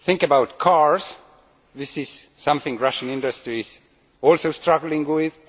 Think about cars this is something Russian industry is also struggling with.